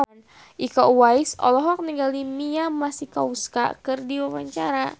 Iko Uwais olohok ningali Mia Masikowska keur diwawancara